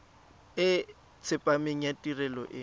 e tsepameng ya tirelo e